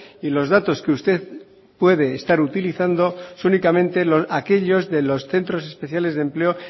y los datos que usted puede estar utilizando son únicamente aquellos de los centros especiales de empleo